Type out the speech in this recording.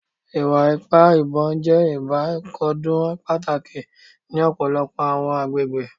Iwa-ipa ibon jẹ ibakcdun pataki ni ọpọlọpọ awọn agbegbe